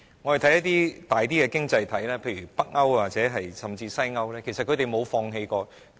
大家看看較大的經濟體，例如北歐甚至西歐，其實他們從沒放棄工業。